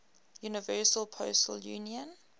universal postal union